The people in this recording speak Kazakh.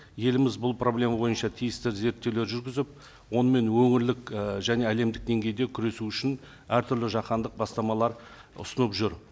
еліміз бұл проблема бойынша тиісті зерттеулер жүргізіп онымен өңірлік і және әлемдік деңгейде күресу үшін әртүрлі жаһандық бастамалар ұсынып жүр